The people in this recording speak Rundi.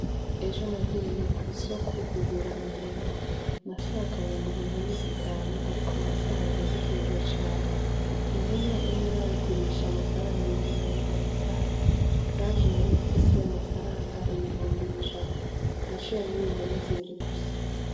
Ejo nagiye kw'isoko kugura impene. Nashaka kugura impene zitanu ariko nasanze zizimvye cane. Impene imwe bayigurisha amafaranga ibihumbi mirogo mirogo itanu, nanje nari nfise amafaranga ibihumbi ijana. Naciye ngura impene zibiri gusa.